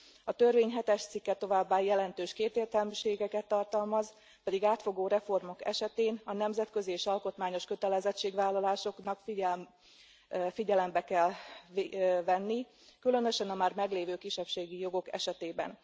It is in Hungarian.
A törvény hetes cikke továbbá jelentős kétértelműségeket tartalmaz, pedig átfogó reformok esetén a nemzetközi és alkotmányos kötelezettségvállalásokat figyelembe kell venni, különösen a már meglévő kisebbségi jogok esetében.